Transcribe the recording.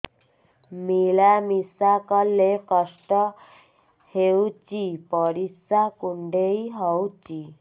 ମିଳା ମିଶା କଲେ କଷ୍ଟ ହେଉଚି ପରିସ୍ରା କୁଣ୍ଡେଇ ହଉଚି